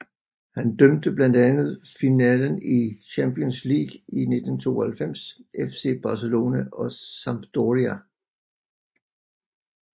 Han dømte blandt andet finalen i Champions League i 1992 FC Barcelona og Sampdoria